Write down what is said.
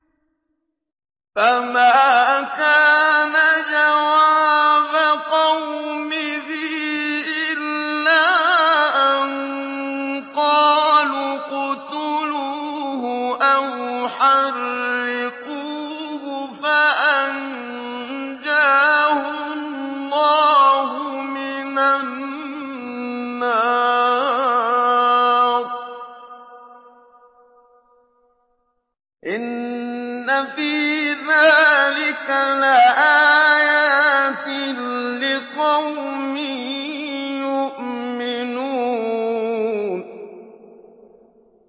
فَمَا كَانَ جَوَابَ قَوْمِهِ إِلَّا أَن قَالُوا اقْتُلُوهُ أَوْ حَرِّقُوهُ فَأَنجَاهُ اللَّهُ مِنَ النَّارِ ۚ إِنَّ فِي ذَٰلِكَ لَآيَاتٍ لِّقَوْمٍ يُؤْمِنُونَ